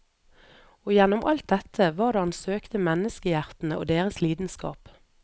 Og gjennom alt dette var det han søkte menneskehjertene og deres lidenskap.